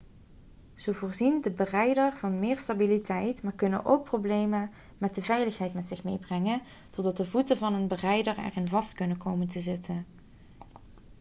ze voorzien de berijder van meer stabiliteit maar kunnen ook problemen met de veiligheid met zich meebrengen doordat de voeten van een berijder erin vast kunnen komen te zitten